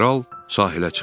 Kral sahilə çıxdı.